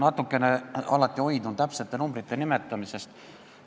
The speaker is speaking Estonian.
Ma alati hoidun täpsete numbrite nimetamisest.